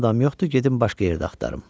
Madam yoxdur, gedin başqa yerdə axtarım.